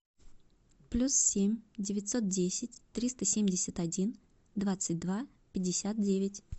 плюс семь девятьсот десять триста семьдесят один двадцать два пятьдесят девять